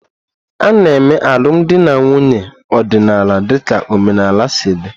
A na-eme alụmdi na nwunye ọdịnala dịka omenala si dị.